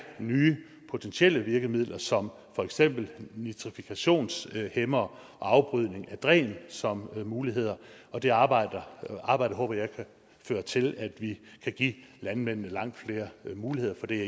nye potentielle virkemidler som for eksempel nitrifikationshæmmere og afbrydning af dræn som muligheder det arbejde arbejde håber jeg kan føre til at vi kan give landmændene langt flere muligheder for det er